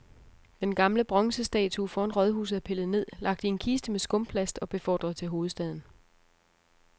Den gamle bronzestatue foran rådhuset er pillet ned, lagt i en kiste med skumplast og befordret til hovedstaden.